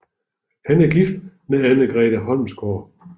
Han er gift med Anne Grete Holmsgaard